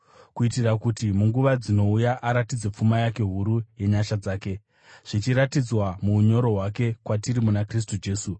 kuitira kuti munguva dzinouya aratidze pfuma yake huru yenyasha dzake, zvichiratidzwa muunyoro hwake kwatiri muna Kristu Jesu.